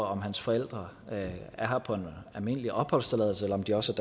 om hans forældre er her på en almindelig opholdstilladelse eller om de også